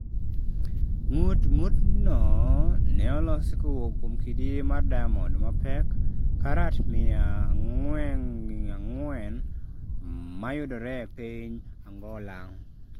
Ng'ut ng'ut no ne olosi kowuok kuom kidi mar diamond mapek karat mia ang'wengi ang'wen mayudore e piny Angola.